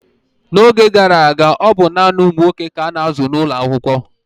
n'oge gara aga, ọ bụ naanị ụmụ nwoke ka a na-azụ n'ụlọ akwụkwọ